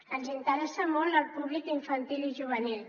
ens interessa molt el públic infantil i juvenil